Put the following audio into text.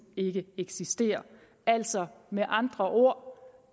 ikke eksisterer altså med andre ord